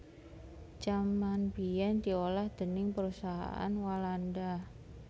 Jaman biyèn diolah déning Perusahaan Walanda